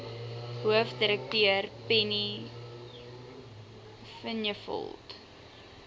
hoofdirekteur penny vinjevold